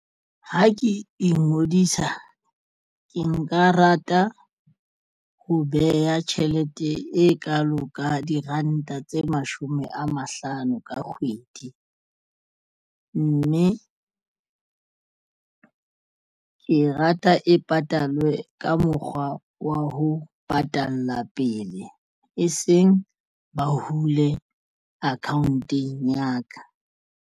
Ha ke ingodisa ke nka rata ho beha tjhelete e kalo ka diranta tse mashome a mahlano ka kgwedi mme ke rata e patalwe ka mokgwa wa ho patalla pele e seng ba hule account-eng ya ka.